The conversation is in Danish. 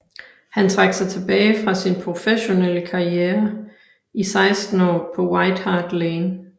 Han trak sig tilbage fra sin professionelle karriere o 16 år på White Hart Lane